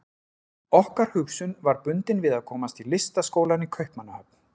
Okkar hugsun var bundin við að komast í Listaskólann í Kaupmannahöfn.